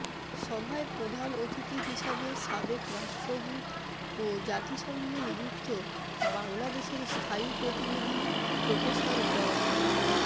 সভায় প্রধান অতিথি হিসেবে সাবেক রাষ্ট্রদূত ও জাতিসংঘে নিযুক্ত বাংলাদেশের স্থায়ী প্রতিনিধি প্রফেসর ড